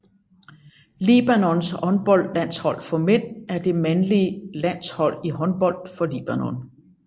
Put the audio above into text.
Libanons håndboldlandshold for mænd er det mandlige landshold i håndbold for Libanon